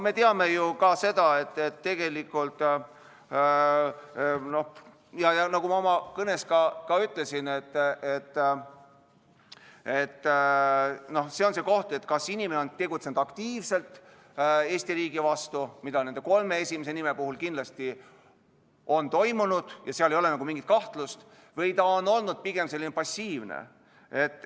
Me teame ju, nagu ma oma kõnes ka ütlesin, et siin on see koht, kas inimene on tegutsenud aktiivselt Eesti riigi vastu, mis nende kolme esimese inimese puhul kindlasti on toimunud ja seal ei ole mingit kahtlust, või on ta olnud pigem passiivne.